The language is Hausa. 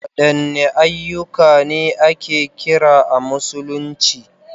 Wadanne ayyuka ne ake kira a Musulunci?